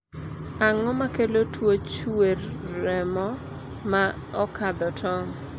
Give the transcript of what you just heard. ang'o makelo tuo chuer remo ma okadho tong'?